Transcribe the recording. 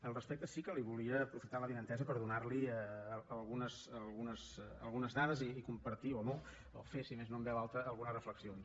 al respecte sí que li volia aprofitant l’avinentesa donar algunes dades i compartir o no o fer si més no en veu alta algunes reflexions